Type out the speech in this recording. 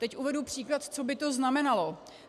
Teď uvedu příklad, co by to znamenalo.